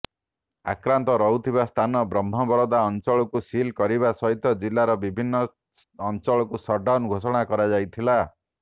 ଆକ୍ରାନ୍ତ ରହୁଥିବା ସ୍ଥାନ ବ୍ରହ୍ମବରଦା ଅଞ୍ଚଳକୁ ସିଲ୍ କରିବା ସହିତ ଜିଲ୍ଲାର ବିଭିନ୍ନ ଅଞ୍ଚଳକୁ ସଟଡାଉନ୍ ଘୋଷଣା କରାଯାଇଥିଲା